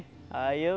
Aí eu